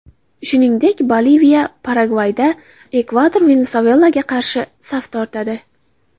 Shuningdek, Boliviya Paragvayga, Ekvador Venesuelaga qarshi saf tortadi.